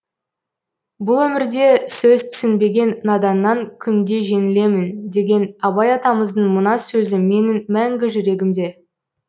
бұл өмірде сөз түсінбеген наданнан күнде жеңілемін деген абай атамыздың мына сөзі менің мәңгі жүрегімде